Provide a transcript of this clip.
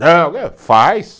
Não, eh faz.